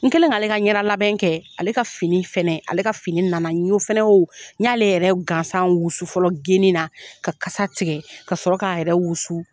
N kelen ka ale ka ɲɛda labɛn kɛ ale ka fini fɛnɛ ale ka fini na na n fana y'o n ɲ'ale yɛrɛ gansan wusu fɔlɔ geni na ka kasa tigɛ ka sɔrɔ k'a yɛrɛ wusu.